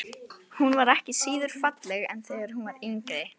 Hún var ekki síður falleg en þegar hún var yngri.